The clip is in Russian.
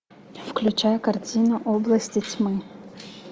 включай картину области тьмы